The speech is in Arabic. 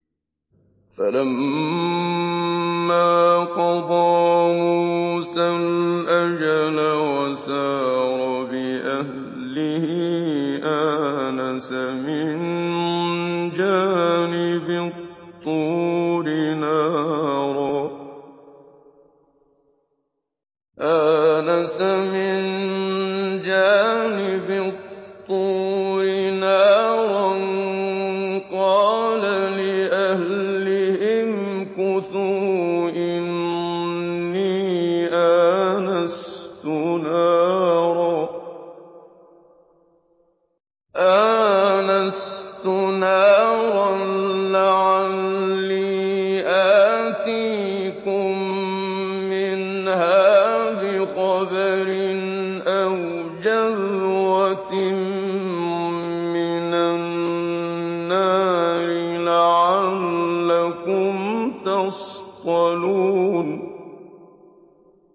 ۞ فَلَمَّا قَضَىٰ مُوسَى الْأَجَلَ وَسَارَ بِأَهْلِهِ آنَسَ مِن جَانِبِ الطُّورِ نَارًا قَالَ لِأَهْلِهِ امْكُثُوا إِنِّي آنَسْتُ نَارًا لَّعَلِّي آتِيكُم مِّنْهَا بِخَبَرٍ أَوْ جَذْوَةٍ مِّنَ النَّارِ لَعَلَّكُمْ تَصْطَلُونَ